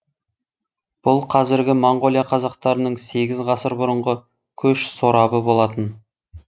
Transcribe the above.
бұл қазіргі монғолия қазақтарының сегіз ғасыр бұрынғы көш сорабы болатын